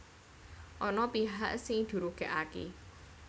Ana pihak sing dirugèkaké